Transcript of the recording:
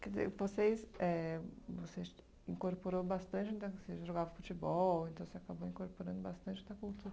Quer dizer, vocês éh você incorporou bastante então... que vocês jogavam futebol, então você acabou incorporando bastante da cultura.